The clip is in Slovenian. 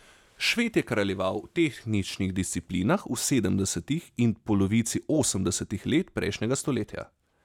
Šved je kraljeval v tehničnih disciplinah v sedemdesetih in polovici osemdesetih let prejšnjega stoletja.